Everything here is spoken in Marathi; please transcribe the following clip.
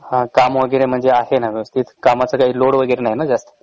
हा काम वगेरे म्हंजे आहे न व्यवस्थित? कामच काही लोड वगेरे नाही न जास्त?